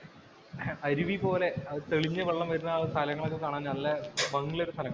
അരുവി പോലെ തെളിഞ്ഞു വെള്ളം വരുന്ന ആ സ്ഥലങ്ങള്‍ ഒക്കെ കാണാന്‍ നല്ല ഭംഗിയുള്ള സ്ഥലങ്ങളാണ്.